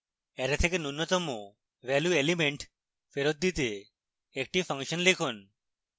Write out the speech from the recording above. array থেকে ন্যূনতম value element ফেরৎ দিতে একটি ফাংশন লিখুন